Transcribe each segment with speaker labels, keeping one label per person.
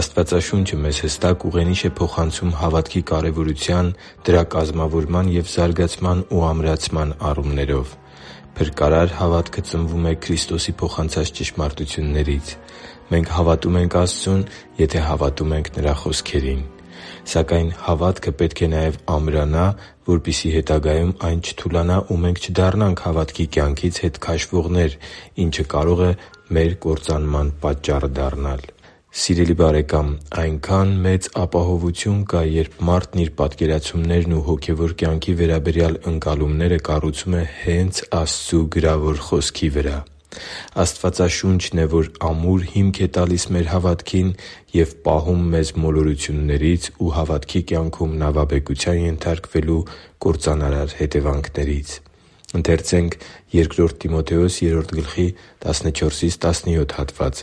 Speaker 1: Աստվածաշունչը մեզ հստակ ուղենիշ է փոխանցում հավատքի կարևորության, դրա կազմավորման և զարգացման ու ամրացման առումներով։ Փրկարար հավատքը ծնվում է Քրիստոսի փոխանցած ճշմարտություններից։ Մենք հավատում ենք Աստծուն, եթե հավատում ենք Նրա խոսքերին։ Սակայն հավատքը պետք է նաև ամրանա, որպեսզի հետագայում այն չթուլանա, ու մենք չդառնանք հավատքի կյանքից հետ քաշվողներ, ինչը կարող է մեր կործանման պատճառը դառնալ։ Սիրելի՛ բարեկամ, այնքա՜ն մեծ ապահովություն կա, երբ մարդն իր պատկերացումներն ու հոգևոր կյանքի վերաբերյալ ընկալումները կառուցում է հե՛նց Աստծու գրավոր Խոսքի վրա։ Աստվածաշունչն է, որ ամուր հիմք է տալիս մեր հավատքին և պահում մեզ մոլորություններից ու հավատքի կյանքում նավաբեկության ենթարկվելու կործանարար հետևանքներից։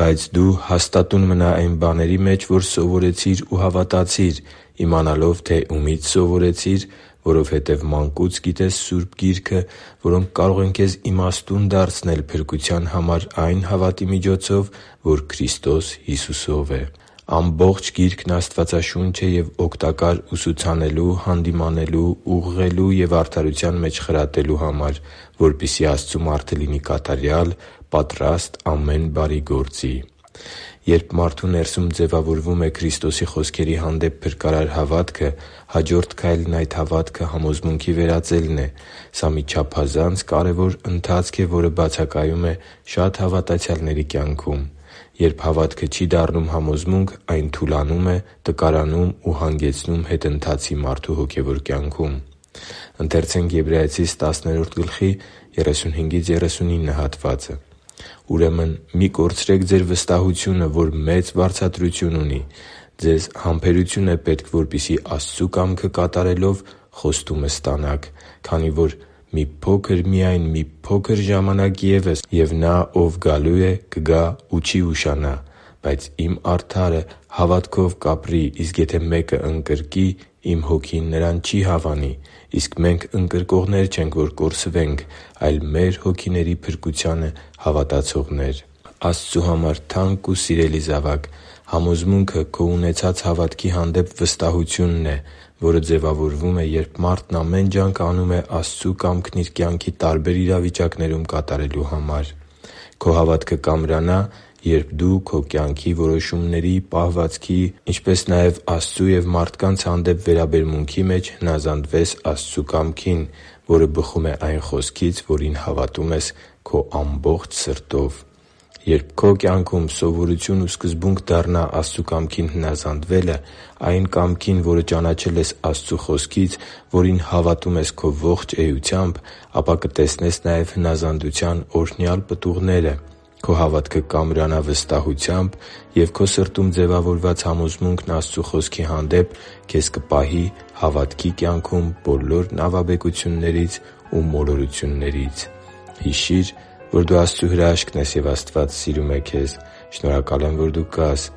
Speaker 1: «Բայց դու հաստատո՛ւն մնա այն բաների մեջ, որ սովորեցիր ու հավատացիր՝ իմանալով, թե ումի՛ց սովորեցիր, որովհետև մանկուց գիտես Սուրբ Գիրքը, որոնք կարող են քեզ իմաստուն դարձնել փրկության համար այն հավատի միջոցով, որ Քրիստոս Հիսուսով է։ Ամբողջ Գիրքն աստվածաշունչ է և օգտակար ուսուցանելու, հանդիմանելու, ուղղելու և արդարության մեջ խրատելու համար, որպեսզի Աստծու մարդը լինի կատարյալ, պատրաստ ամեն բարի գործի» (Բ Տիմոթեոս 3.14-17)։ Երբ մարդու ներսում ձևավորվում է Քրիստոսի խոսքերի հանդեպ փրկարար հավատքը, հաջորդ քայլն այդ հավատքը համոզմունքի վերածելն է։ Սա մի չափազանց կարևոր ընթացք է, որը բացակայում է շատ հավատացյալների կյանքում։ Երբ հավատքը չի դառնում համոզմունք, այն թուլանում է, տկարանում ու հանգեցնում հետընթացի մարդու հոգևոր կյանքում։ «Ուրեմն մի՛ կորցրեք ձեր վստահությունը, որ մեծ վարձատրություն ունի։ Ձեզ համբերություն է պետք, որպեսզի Աստծու կամքը կատարելով՝ խոստումն ստանաք։ Քանի որ «Մի փոքր միայն, մի փոքր ժամանակ ևս, և Նա, Ով գալու է, կգա ու չի ուշանա։ Բայց Իմ արդարը հավատով կապրի, իսկ եթե մեկը ընկրկի, Իմ Հոգին նրան չի հավանի»։ Իսկ մենք ընկրկողներ չենք, որ կորսվենք, այլ մեր հոգիների փրկությանը հավատացողներ» (Եբրայեցիս 10.35-39)։ Աստծու համար թանկ ու սիրելի՛ զավակ, համոզմունքը քո ունեցած հավատքի հանդեպ վստահությունն է, որը ձևավորվում է, երբ մարդն ամեն ջանք անում է Աստծու կամքն իր կյանքի տարբեր իրավիճակներում կատարելու համար։ Քո հավատքը կամրանա, երբ դու քո կյանքի որոշումների, պահվածքի ու Աստծու և մարդկանց հանդեպ վերաբերմունքի մեջ հնազանդվես Աստծու կամքին, որը բխում է այն Խոսքից, որին հավատում ես քո ամբողջ սրտով։ Երբ քո կյանքում սովորություն ու սկզբունք դառնա Աստծու կամքին հնազանդվելը․․․, այն կամքին, որը ճանաչել ես Աստծու Խոսքից, որին հավատում ես քո ողջ էությամբ, ապա կտեսնես նաև հնազանդության օրհնյալ պտուղները։ Քո հավատքը կամրանա վստահությամբ, և քո սրտում ձևավորված համոզմունքն Աստծու Խոսքի հանդեպ քեզ կպահի հավատքի կյանքում բոլոր նավաբեկություններից ու մոլորություններից։ Հիշի՛ր, որ դու Աստծո հրաշքն ես, և Աստված սիրում է քեզ։ Շնորհակալ եմ, որ դու կա՛ս